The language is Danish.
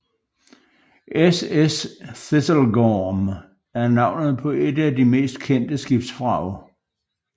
SS Thistlegorm er navnet på et af de mest kendte skibsvrag